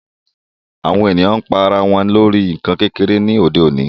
Awọn èniyàn pa àrà wọn lórí nkán kékere ni òde òní